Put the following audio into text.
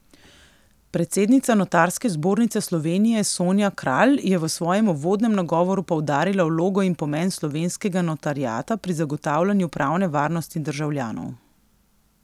Predsednica Notarske zbornice Slovenije Sonja Kralj je v svojem uvodnem nagovoru poudarila vlogo in pomen slovenskega notariata pri zagotavljanju pravne varnosti državljanov.